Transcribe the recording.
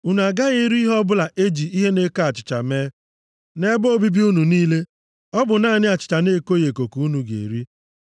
Unu agaghị eri ihe ọbụla e ji ihe na-eko achịcha mee. Nʼebe obibi unu niile, ọ bụ naanị achịcha na-ekoghị eko ka unu ga-eri.”